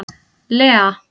Lea